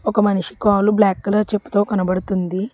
ఒక మనిషి కాలు బ్లాక్ కలర్ చెప్పుతో కనబడుతుంది.